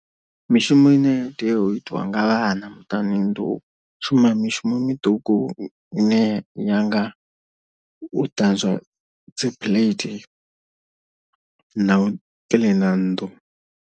Mishumo ine tea u itiwa nga vhana muṱani ndi u shuma mishumo miṱuku ine ya nga u ṱanzwa dzi plate na u kiḽina nnḓu.